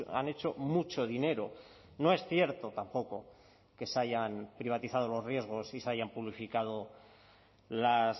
han hecho mucho dinero no es cierto tampoco que se hayan privatizado los riesgos y se hayan publificado las